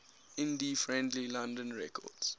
indie friendly london records